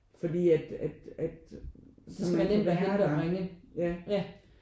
Fordi at at at så man nemt at være der ja